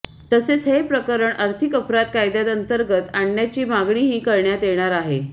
तसेच हे प्रकरण आर्थिक अपराध कायद्याअंतर्गत आणण्याची मागणीही करण्यात येणार आहे